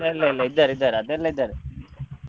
ಇಲ್ಲ ಇಲ್ಲ ಇದ್ದಾರೆ ಇದ್ದಾರೆ ಅದೆಲ್ಲ ಇದ್ದಾರೆ.